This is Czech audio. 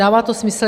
Dává to smysl.